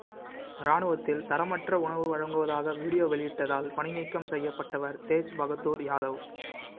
ராணுவத்தில் தரமற்ற உணவு வழங்குவதாக வீடியோ வெளியிட்டதால் பணிநீக்கம் செய்யப்பட்டவர் தேஜ் பகதூர் யாதவ்